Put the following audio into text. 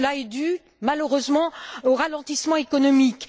Cela est dû, malheureusement, au ralentissement économique.